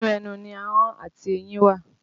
Inú ẹnu ni ahọ́n àti eyín wà